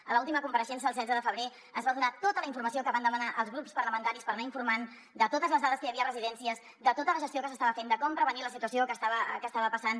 a l’última compareixença el setze de febrer es va donar tota la informació que van demanar els grups parlamentaris per anar informant de totes les dades que hi havia a residències de tota la gestió que s’estava fent de com prevenir la situació que estava passant